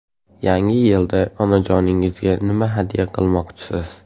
Yangi yilda onajoningizga nima hadya qilmoqchisiz?.